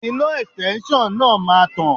Iná Ẹ̀stẹ́nṣọ̀n náà máa tàn.